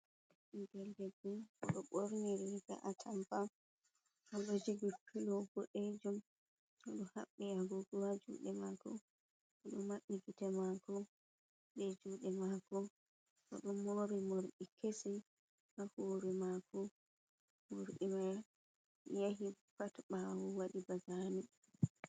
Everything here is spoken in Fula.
'Belgel debbo d'o borniri ba’a tamba; o d'o jogi pilo bod'eejum; o d'o habbi agogo ha jude mako; o d'o mabdi gite mako be jude mako bo do mori morbi kesi ha huri mako; mordi mai yahi ha ta bawo wadi bazane.